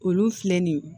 Olu filɛ nin ye